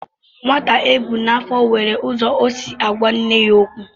Nwa ebu n'afọ nwere ụzọ o si agwa nne ya okwu.